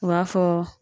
U b'a fɔ